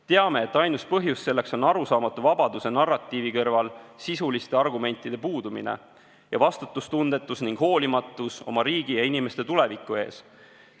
Teame, et ainus põhjus selleks on arusaamatu vabadusenarratiivi kõrval sisuliste argumentide puudumine ja vastutustundetus ning hoolimatus oma riigi ja inimeste tuleviku suhtes.